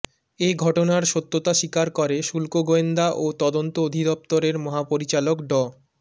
এ ঘটনার সত্যতা স্বীকার করে শুল্ক গোয়েন্দা ও তদন্ত অধিদপ্তরের মহাপরিচালক ড